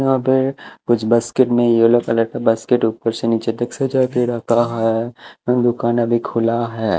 यहां पे कुछ बास्केट में येलो कलर का बास्केट ऊपर से नीचे तक सजा के रखा है दुकान अभी खुला है।